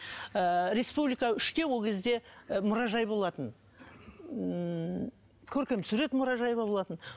ыыы республика үште ол кезде і мұражай болатын ммм көркем сурет мұражайы ма болатын